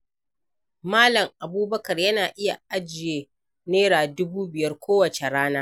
Mal. Abubakar yana iya ajiye Naira dubu biyar kowace rana.